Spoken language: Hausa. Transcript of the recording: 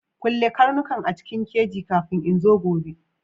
Kulle karnukan a cikin keji kafin in zo gobe!